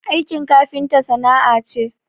Aikin kafinta sana'a ce